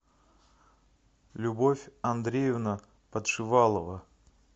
любовь андреевна подшивалова